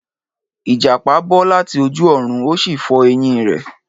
Ìjàpá bọ́ láti ojú ọ̀run, ó sì fọ́ ẹ̀yìn rẹ̀.